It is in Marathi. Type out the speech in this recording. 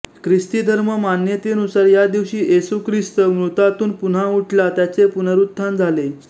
ख्रिस्ती धर्म मान्यतेनुसार या दिवशी येशू ख्रिस्त मृतातून पुनः उठला त्याचे पुनरुत्थान झाले